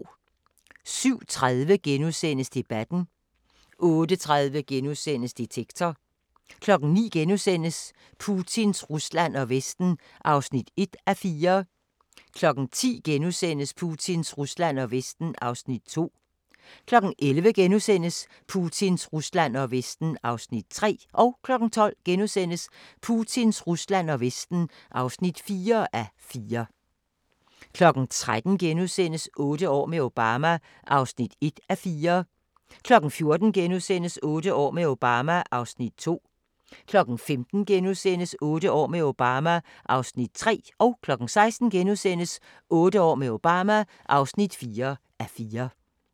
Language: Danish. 07:30: Debatten * 08:30: Detektor * 09:00: Putins Rusland og Vesten (1:4)* 10:00: Putins Rusland og Vesten (2:4)* 11:00: Putins Rusland og Vesten (3:4)* 12:00: Putins Rusland og Vesten (4:4)* 13:00: Otte år med Obama (1:4)* 14:00: Otte år med Obama (2:4)* 15:00: Otte år med Obama (3:4)* 16:00: Otte år med Obama (4:4)*